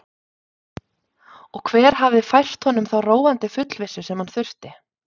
Og hver hafði fært honum þá róandi fullvissu sem hann þurfti?